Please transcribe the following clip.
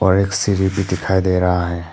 और एक सीढ़ी भी दिखाई दे रहा है।